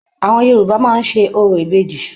Àwọn Yorùbá máa ń ṣe orò ìbejì.